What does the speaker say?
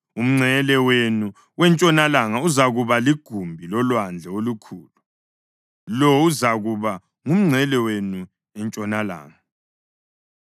Umngcele wenu wentshonalanga uzakuba ligumbi loLwandle oLukhulu. Lo uzakuba ngumngcele wenu entshonalanga.